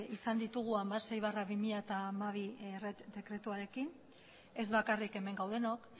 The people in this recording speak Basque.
izan ditugu hamasei barra bi mila hamabi dekretuarekin ez bakarrik hemen gaudenok